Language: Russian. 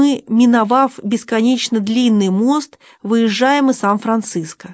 и миновав бесконечно длинный мост выезжаем из сан-франциско